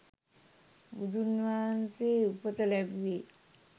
බුදුන්වහන්සේ උපත ලැබුවේ